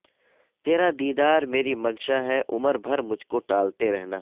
تیرا دیدار میری منشا ہے عمر بھر مجھ کو ٹالتے رہنا